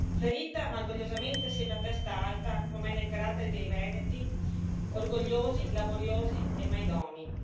Ferita ma orgogliosamente sempre a testa alta, come è nel carattere dei veneti orgogliosi, laboriosi e mai domi.